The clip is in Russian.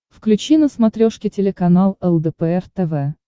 включи на смотрешке телеканал лдпр тв